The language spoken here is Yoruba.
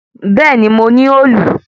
Bẹ̀ẹ́ni, mo ní òòlù.